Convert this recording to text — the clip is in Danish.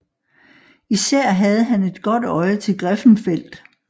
Især havde han et godt øje til Griffenfeld